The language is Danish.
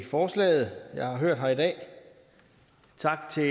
forslaget jeg har hørt her i dag tak til